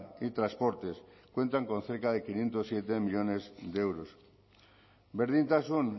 y transportes cuentan con cerca de quinientos siete millónes de euros berdintasun